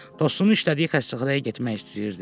Dostunun işlədiyi xəstəxanaya getmək istəyirdi.